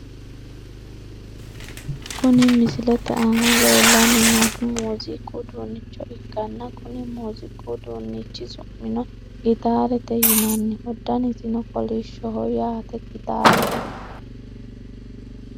Kuni misilete aana leellanni noohu muuziiqu uduunnicho ikkanna , kunni muuziiqu uduunnichi su'mino gitaarete yinanniho. danisino kolishshoho yaate gitaarete .